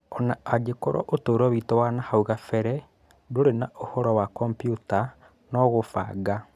ona angĩkorwo ũtũro witũ wa nahau kabere ndũrĩ na ũhoro na kombiuta na kũbanga.